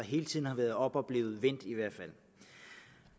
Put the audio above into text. hele tiden har været oppe og er blevet vendt